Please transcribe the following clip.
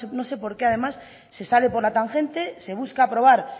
no sé por qué además se sale por la tangente se busca aprobar